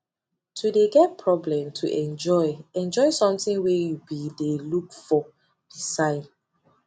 to de get problem to enjoy enjoy something wey you be de looked for be sign